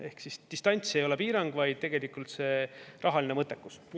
Ehk distants ei ole piirang, vaid tegelikult see rahaline mõttekus.